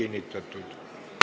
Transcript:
Istungi lõpp kell 15.02.